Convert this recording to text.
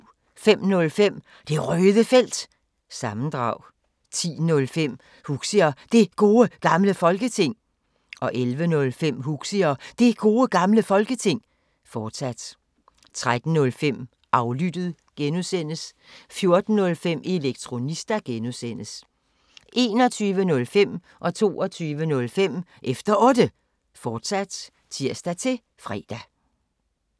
05:05: Det Røde Felt – sammendrag 10:05: Huxi og Det Gode Gamle Folketing 11:05: Huxi og Det Gode Gamle Folketing, fortsat 13:05: Aflyttet G) 14:05: Elektronista (G) 21:05: Efter Otte, fortsat (tir-fre) 22:05: Efter Otte, fortsat (tir-fre)